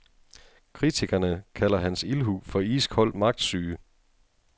Kritikerne kalder hans ildhu for iskold magtsyge.